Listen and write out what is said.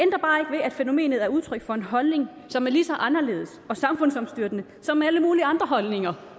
fænomenet er udtryk for en holdning som er lige så anderledes og samfundsomstyrtende som alle mulige andre holdninger